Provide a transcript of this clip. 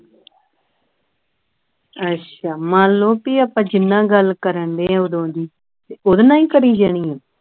ਅੱਛਾ ਮੰਨ ਲਉ ਭਈ ਜੀਹਦੇ ਨਾਲ ਗੱਲ ਕਰ ਡਹੇ ਹਾਂ ਓਦੋਂ ਦੀ ਤੇ ਉਹਦੇ ਨਾਲ ਹੀ ਕਰੀ ਜਾਣੀਆਂ